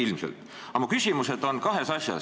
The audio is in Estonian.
Aga mu küsimus on kahe asja kohta.